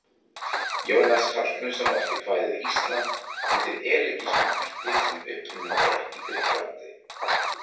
Jónas Hallgrímsson orti kvæðið Ísland undir elegískum hætti sem upprunninn er í Grikklandi.